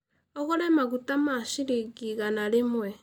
ũgũre maguta ma ciringi igana rĩmwe.